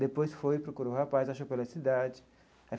Depois foi, procurou o rapaz, achou pela cidade.